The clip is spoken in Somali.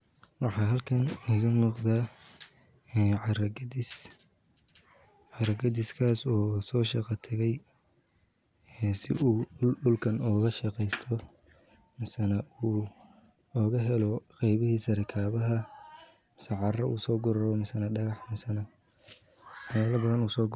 Waxa xalkan igamuqda, een caraa qadiis, caraa qadiskas oo soshaqa taqay, si uu dulka ogadhaqesto, misanaa ogaxelo qebihisa rikabaxa, mise caraa usoguro mise daqax, waxyala badan.